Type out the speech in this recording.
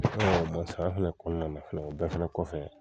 kɔnɔna na o bɛɛ fana kɔfɛ.